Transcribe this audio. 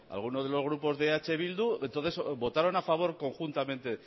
alguno de los grupos de eh bildu entonces votaron a favor conjuntamente